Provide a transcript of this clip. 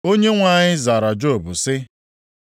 Onyenwe anyị zara Job sị: